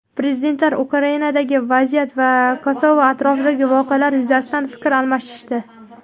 Prezidentlar Ukrainadagi vaziyat va Kosovo atrofidagi voqealar yuzasidan fikr almashishdi.